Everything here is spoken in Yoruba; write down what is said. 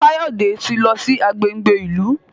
Kayode tí lọ sí agbègbè ìlú